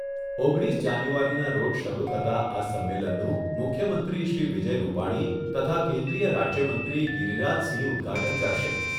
ઓગણીસ જાન્યુઆરીના રોજ શરૂ થતા આ સંમેલનનું મુખ્યમંત્રી શ્રી વિજય રૂપાણી તથા કેન્દ્રીય રાજ્યમંત્રી ગીરિરાજસિંહ ઉદ્ઘાટન કરશે.